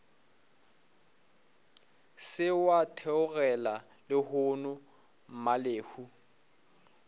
se wa theogela lehono mmalehu